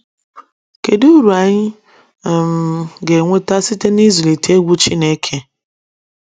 Kedụ Ụrụ anyi um ga enwete site n’ịzụlite egwu Chineke?